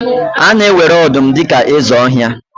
A na-ewere ọdụm dị ka eze ọhịa